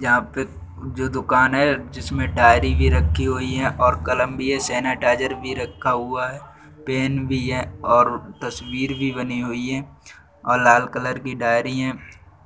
यहाँ पे जो दुकान है जिसमे डायरी भी रखी हुई है और कलम भी है सेनेटाइज़ेर भी रखा हुआ है पेन भी है और तस्वीर भी बनी हुई हैं और लाल कलर की डायरी हैं